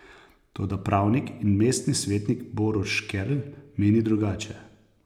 Toda pravnik in mestni svetnik Borut Škerlj meni drugače.